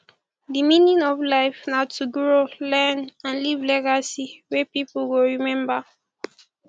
di meaning of life na to grow learn and leave legacy wey pipo go rememba